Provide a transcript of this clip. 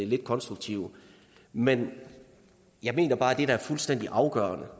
lidt konstruktive men jeg mener bare at det der er fuldstændig afgørende